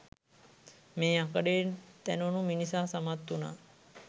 මේ යකඩයෙන් තැනුණු මිනිසා සමත් වුණා